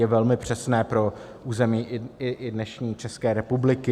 Je velmi přesné pro území i dnešní České republiky.